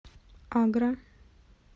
агра